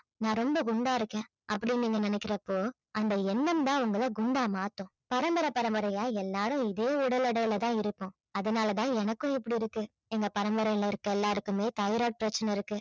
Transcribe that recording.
நான் ரொம்ப குண்டா இருக்கேன் அப்படின்னு நீங்க நினைக்கிறப்போ அந்த எண்ணம் தான் உங்களை குண்டா மாத்தும் பரம்பரை பரம்பரையா எல்லாரும் இதே உடல் எடையில தான் இருக்கோம் அதனால தான் எனக்கும் இப்படி இருக்கு எங்க பரம்பரையில இருக்கிற எல்லாருக்குமே தைராய்டு பிரச்சினை இருக்கு